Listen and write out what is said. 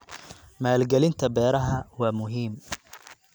Maalgelinta beeraha waa muhiim.